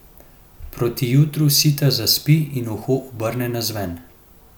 Proti jutru sita zaspi in uho obrnem navzven.